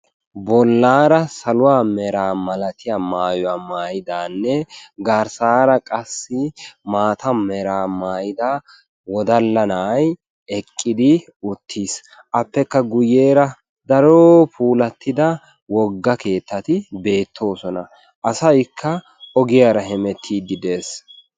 bolaara saluwa meraa malattiya maayuwa maayidanne garsaara qassi maata meraa maayida wodala na'ay eqqidi uttiis. appekka guyeera keehi pulatidda wofga keetati beetoosona. asaykka ogiyaara hemetiidi de'ees.